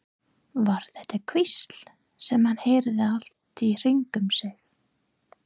Var þetta hvísl sem hann heyrði allt í kringum sig?